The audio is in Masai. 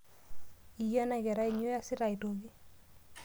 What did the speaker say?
Yie ena kerai nyoo iasita aitoki?